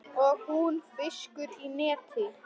Og hún fiskur í neti.